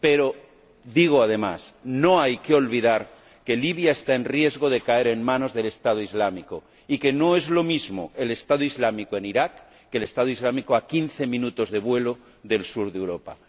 Pero digo, además, que no hay que olvidar que Libia está en riesgo de caer en manos del Estado Islámico y que no es lo mismo el Estado Islámico en Irak que el Estado Islámico a quince minutos de vuelo del sur de Europa.